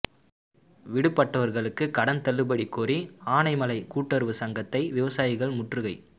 விடுபட்டவர்களுக்கும் கடன் தள்ளுபடி கோரி ஆனைமலை கூட்டுறவு சங்கத்தை விவசாயிகள் முற்றுகை